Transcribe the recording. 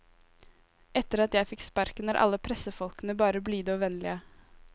Etter at jeg fikk sparken, er alle pressefolkene bare blide og vennlige.